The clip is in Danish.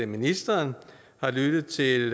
ministeren har lyttet til